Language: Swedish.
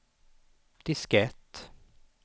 diskett